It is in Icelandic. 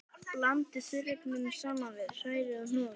Blandið þurrefnunum saman við, hrærið og hnoðið.